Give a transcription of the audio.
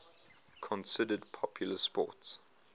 considered popular sports